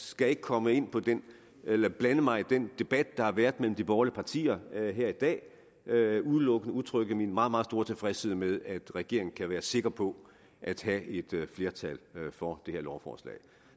skal ikke komme ind på eller blande mig i den debat der har været mellem de borgerlige partier her i dag udelukkende udtrykke min meget meget store tilfredshed med at regeringen kan være sikker på at have et flertal for det her lovforslag